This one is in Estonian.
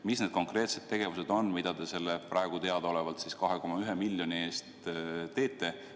Mis on need konkreetsed tegevused, mida te selle praegu teadaolevalt 2,1 miljoni abil teete?